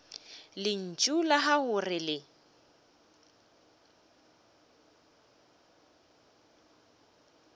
lentšu la gago re le